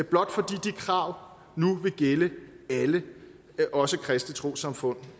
blot fordi de krav nu vil gælde alle også kristne trossamfund